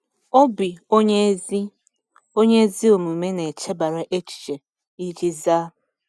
“Obi onye ezi onye ezi omume na-echebara echiche iji zaa.”